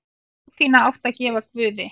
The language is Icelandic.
Trú þína áttu að gefa guði.